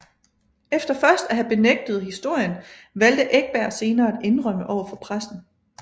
Efter først at have benægtet historien valgte Ekberg senere at indrømme overfor pressen